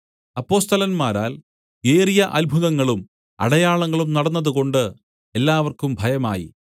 അപ്പൊസ്തലന്മാരാൽ ഏറിയ അത്ഭുതങ്ങളും അടയാളങ്ങളും നടന്നതുകൊണ്ട് എല്ലാവർക്കും ഭയമായി